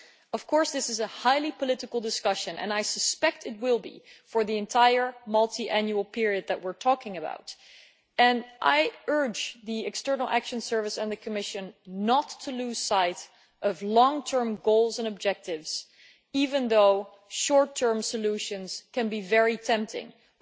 Of course, this is a highly political discussion and I suspect it will be for the entire multiannual period that we are talking about, and I urge the External Action Service and the Commission not to lose sight of long term goals and objectives even though short term solutions can be very tempting, they